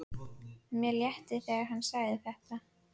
Mér létti þegar hann sagði þetta.